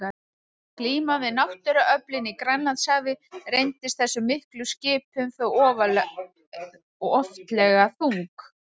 Glíman við náttúruöflin í Grænlandshafi reyndist þessum miklu skipum þó oftlega þung.